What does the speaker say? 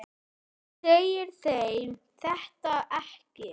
Þú segir þeim þetta ekki.